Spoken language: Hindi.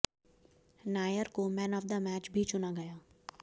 नायर को मैन ऑफ द मैच भी चुना गया